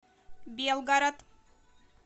белгород